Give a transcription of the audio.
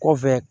Kɔfɛ